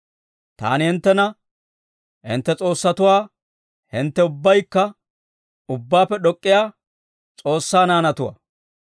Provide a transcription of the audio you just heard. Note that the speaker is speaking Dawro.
Taani hinttena, ‹Hintte s'oossatuwaa; hintte ubbaykka Ubbaappe D'ok'k'iyaa S'oossaa naanatuwaa.